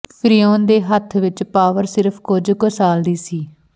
ਫ਼ਿਰਊਨ ਦੇ ਹੱਥ ਵਿੱਚ ਪਾਵਰ ਸਿਰਫ ਕੁਝ ਕੁ ਸਾਲ ਦੀ ਸੀ